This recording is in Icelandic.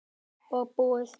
Og búið.